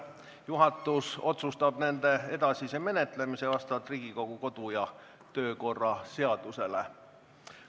Juhatus otsustab nende edasise menetlemise vastavalt Riigikogu kodu- ja töökorra seadusele.